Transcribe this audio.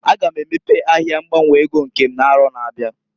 A ga m emepe ahịa ngbanwe ego nke m n'arọ na-abịa.